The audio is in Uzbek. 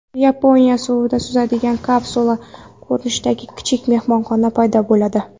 Yaponiyada suvda suzadigan kapsula ko‘rinishidagi kichik mehmonxona paydo bo‘ladi.